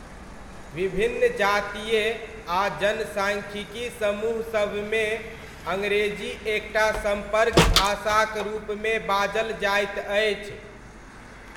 विभिन्न जातीय आ जनसाङ्ख्यिकी समूहसबमे अङ्ग्रेजी एक टा सम्पर्क भाषाक रूपमे बाजल जाइत अछि।